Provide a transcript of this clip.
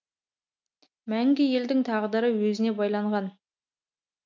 мәңгі елдің тағдыры өзіңе байланған